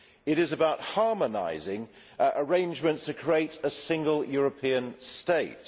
It is about harmonising arrangements to create a single European state.